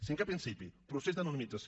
cinquè principi procés d’anonimització